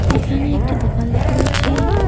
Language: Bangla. এখানে একটি দোকান দেখতে পাচ্ছি।